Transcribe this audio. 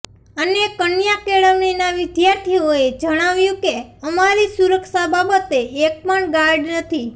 અને કન્યા કેળવણીના વિદ્યાર્થીનીઓએ જણાવ્યું કે અમારી સુરક્ષા બાબતે એક પણ ગાર્ડ નથી